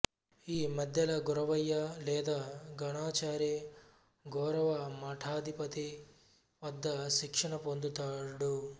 ఈ మద్దెల గొరవయ్య లేదా గణాచారి గొరవ మఠాధిపతి వద్ద శిక్షణ పొందుతాడు